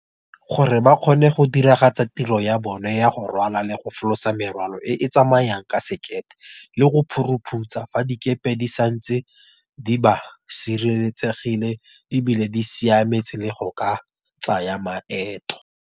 Gore ba kgone go diragatsa tiro ya bone ya go rwala le go folosa merwalo e e tsamayang ka sekepe le go phorophutsa fa dikepe di santse di ba sireletsegile e bile di siametse le go ka tsaya maeto.